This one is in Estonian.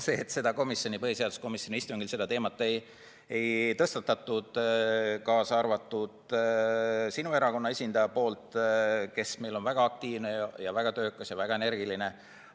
Lihtne vastus on, et põhiseaduskomisjoni istungil seda teemat ei tõstatatud, kaasa arvatud sinu erakonna esindaja poolt, kes meil on väga aktiivne ja väga töökas ja väga energiline.